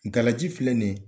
Galaji filɛ ni ɲe